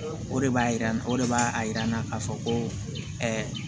O de b'a yira o de b'a yira n na k'a fɔ ko